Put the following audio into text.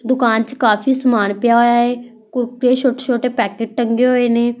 ਦੁਕਾਨ 'ਚ ਕਾਫੀ ਸਮਾਨ ਪਿਆ ਹੋਇਆ ਏ ਛੋਟੇ-ਛੋਟੇ ਪੈਕਟ ਟੰਗੇ ਹੋਏ ਨੇ।